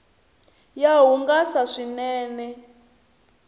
ya hungasa swinene